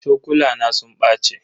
Cokulana sun bace.